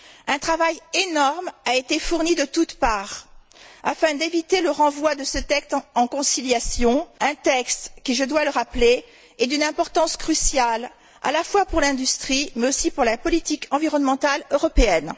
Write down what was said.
Un travail énorme a été fourni de toutes parts afin d'éviter le renvoi de ce texte en conciliation, un texte qui, je dois le rappeler, est d'une importance cruciale, à la fois pour l'industrie, mais aussi pour la politique environnementale européenne.